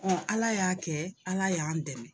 Ala y'a kɛ, Ala y'an dɛmɛ.